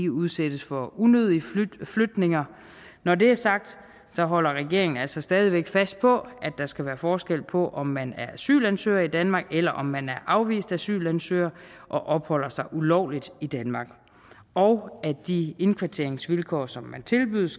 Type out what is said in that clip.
udsættes for unødige flytninger når det er sagt holder regeringen altså stadig væk fast på at der skal være forskel på om man er asylansøger i danmark eller om man er afvist asylansøger og opholder sig ulovligt i danmark og at de indkvarteringsvilkår som man tilbydes